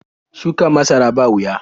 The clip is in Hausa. Shuka masara ba wuya.